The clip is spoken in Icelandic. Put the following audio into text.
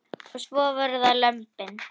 Og svo voru það lömbin.